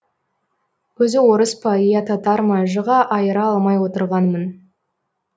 өзі орыс па иә татар ма жыға айыра алмай отырғанмын